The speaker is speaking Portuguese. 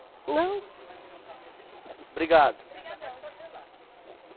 Não. Obrigado.